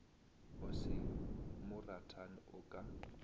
o se moratani o ka